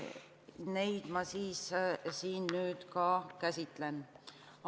Neid ma siin nüüd ka käsitlen.